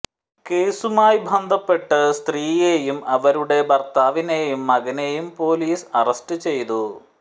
കേസുമായി ബന്ധപ്പെട്ട് സ്ത്രീയെയും അവരുടെ ഭർത്താവിനെയും മകനെയും പോലീസ് അറസ്റ്റ് ചെയ്തു